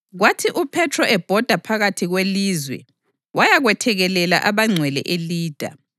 Kwathi uPhethro ebhoda phakathi kwelizwe wayakwethekelela abangcwele eLida.